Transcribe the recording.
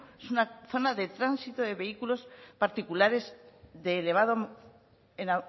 es una zona de tránsito de vehículos particulares de elevado en